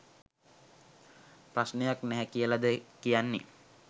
ප්‍රශ්නයක් නැහැ කියලද කියන්නේ?